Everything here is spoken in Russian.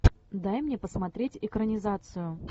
дай мне посмотреть экранизацию